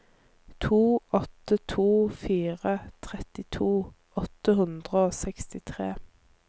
to åtte to fire trettito åtte hundre og sekstitre